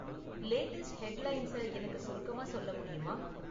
Latest headlines எனக்கு சுருக்கமா சொல்ல முடியுமா?